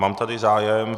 Mám tady zájem.